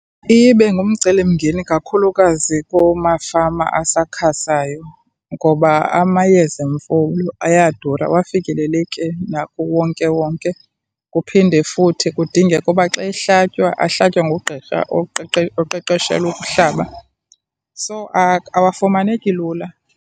Iye ibe ngumcelimngeni kakhulukazi kumafama asakhasayo ngoba amayeza emfuyo ayadura awafikeleleki nakuwonkewonke, kuphinde futhi kudingeke uba xa ehlatywa ahlatywe ngugqirha oqeqeshelwe ukuhlaba. So, awafumaneki lula.